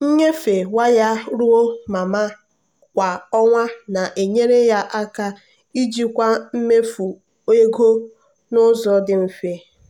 nnyefe waya ruo mama kwa ọnwa na-enyere ya aka ijikwa mmefu ego n'ụzọ dị mfe.